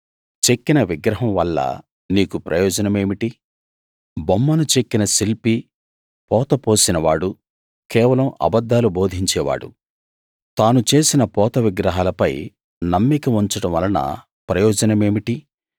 చెక్కిన విగ్రహం వల్ల నీకు ప్రయోజనమేమిటి బొమ్మను చెక్కిన శిల్పి పోత పోసిన వాడు కేవలం అబద్ధాలు బోధించే వాడు తాను చేసిన పోత విగ్రహాలపై నమ్మిక ఉంచడం వలన ప్రయోజనమేమిటి